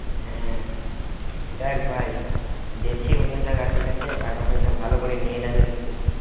হ্যাঁ। দেখ ভাই জেছি অন্য জায়গাতে ঠিকাছে, টাকাপয়সা ভালও করে নিয়ে যাবি কিন্তু!